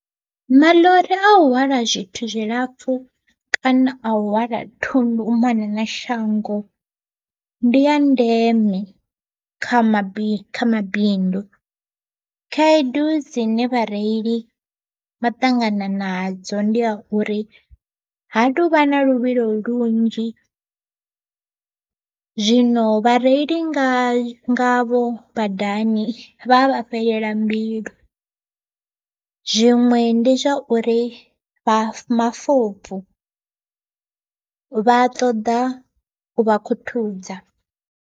Maḽori a u hwala zwithu zwilapfhu kana a u hwala thundu u mona na shango ndi ya ndeme, kha mabindu kha mabindu, khaedu dzine vhareili vha ṱangana nadzo ndi a uri ha tovha na luvhilo lunzhi. Zwino vha reili nga nga vho badani vha vha fhelela mbilu, zwiṅwe ndi zwa uri vha vha mafobvu vha a ṱoḓa u vha khuthuza.